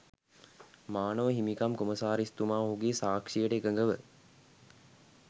මානව හිමිකම් කොමසාරිස්තුමා ඔහුගේ සාක්ෂියට එකඟව